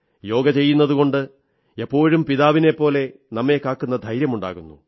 യോഗ ചെയ്യുന്നതുകൊണ്ട് എപ്പോഴും പിതാവിനെപ്പോലെ നമ്മെ കാക്കുന്ന ധൈര്യമുണ്ടാകുന്നു